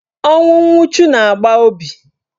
Ọnwụ nwuchu na-agba obi.